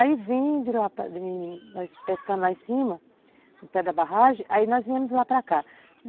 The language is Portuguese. Aí vim de lá, nós pescando lá em cima, no pé da barragem, aí nós viemos de lá para cá.